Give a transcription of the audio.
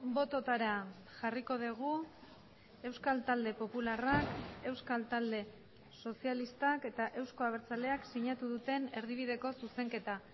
bototara jarriko dugu euskal talde popularrak euskal talde sozialistak eta euzko abertzaleak sinatu duten erdibideko zuzenketa